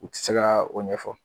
O te se ka o ɲɛfɔ